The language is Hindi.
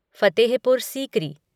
फतेहपुर सीकरी